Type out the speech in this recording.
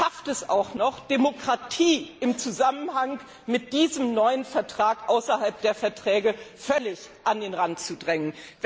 Man schafft es auch noch, Demokratie im Zusammenhang mit diesem neuen Vertrag außerhalb der Verträge völlig an den Rand zu drängen.